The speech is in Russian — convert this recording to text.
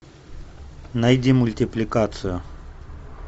найди мультипликацию